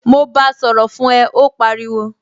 Mo báa sọ̀rọ̀ fún ẹ, ó pariwo